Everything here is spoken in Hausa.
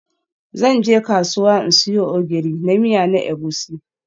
Zan je kasuwa in siyo Ogiri na miya na Egusi.